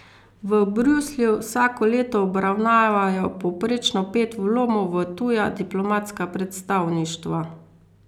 V Bruslju vsako leto obravnavajo povprečno pet vlomov v tuja diplomatska predstavništva.